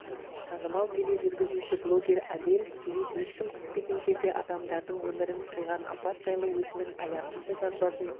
танымал тележүргізуші блогер адель смит ешкім күтпеген жерде адамдардың өмірін қиған апат жайлы өзінің аянышты жазбасын